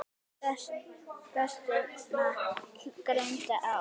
Gestina greindi á.